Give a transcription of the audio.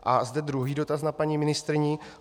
A zde druhý dotaz na paní ministryni.